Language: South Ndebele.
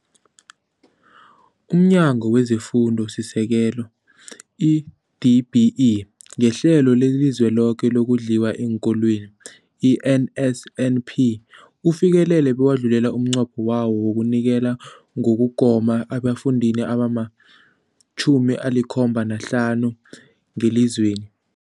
UmNyango wezeFundo esiSekelo, i-DBE, ngeHlelo leliZweloke lokoNdliwa eenKolweni, i-NSNP, ufikelele bewadlula umnqopho wawo wokunikela ngokugoma ebafundini abama-75 ngelizweni.